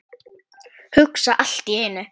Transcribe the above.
Hugsa allt í einu.